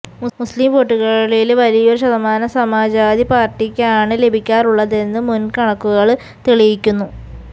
മുസ്ലിം വോട്ടുകളില് വലിയൊരു ശതമാനം സമാജ്വാദി പാര്ട്ടിക്കാണ് ലഭിക്കാറുള്ളതെന്ന് മുന്കണക്കുകള് തെളിയിക്കുന്നു